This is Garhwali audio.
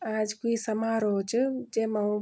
आज क्वि समारोह च जेमा --